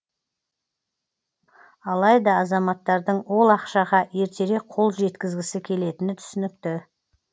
алайда азаматтардың ол ақшаға ертерек қол жеткізгісі келетіні түсінікті